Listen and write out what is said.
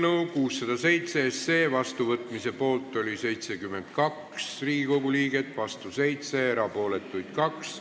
Hääletustulemused Eelnõu 607 vastuvõtmise poolt oli 72 Riigikogu liiget, vastu 7, erapooletuid 2.